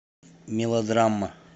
мелодрама